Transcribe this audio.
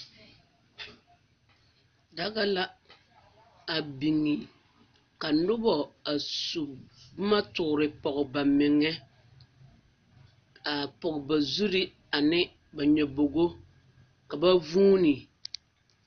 Daga la a biŋ ka nobo su boma toore pɔge ba meŋa a pɔge ba zure ane ba nyabobo ka ba vuune